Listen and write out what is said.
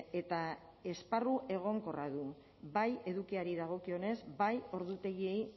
eta esparru egonkorra du bai edukiari dagokionez bai ordutegiei